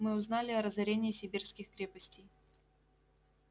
мы узнали о разорении сибирских крепостей